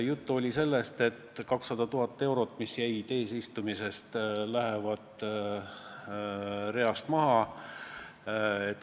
Juttu oli sellest, et 200 000 eurot, mis jäi järele eesistumisest, lähevad reast maha.